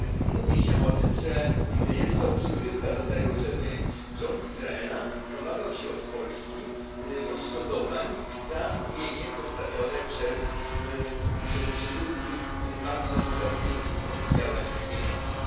Mówi się o tym, że jest to przygrywka do tego, żeby rząd Izraela domagał się od Polski odszkodowań za mienie pozostawione przez Żydów, którzy zmarli bezpotomnie w wyniku działań niemieckich.